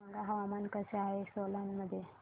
सांगा हवामान कसे आहे सोलान मध्ये